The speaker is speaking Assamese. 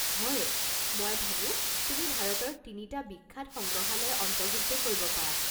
হয়! মই ভাবো তুমি ভাৰতৰ তিনিটা বিখ্যাত সংগ্ৰহালয় অন্তৰ্ভুক্ত কৰিব পাৰা।